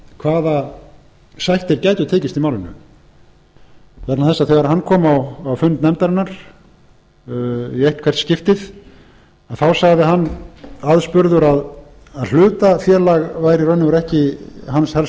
hvaða sættir gætu tekist í málinu vegna þess þegar hann kom á fund nefndarinnar í eitthvert skiptið þá sagði hann aðspurður að hlutafélag væri í raun og veru ekki hans